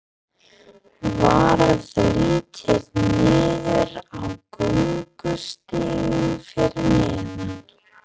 Varð litið niður á göngustíginn fyrir neðan.